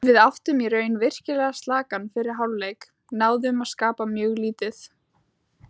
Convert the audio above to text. Við áttum í raun virkilega slakan fyrri hálfleik, náðum að skapa mjög lítið.